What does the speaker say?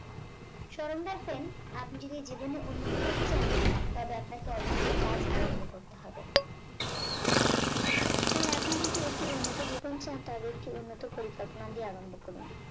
স্মরণ রাখবেন আপনি যদি জীবনে উন্নতি করতে চান তবে আপনাকে অবশ্যই কাজ আরম্ভ করতে হবে তাই আপনি যদি একটি উন্নত জীবন চান তবে একটি উন্নত পরিকল্পনা দিয়ে আরম্ভ করুন।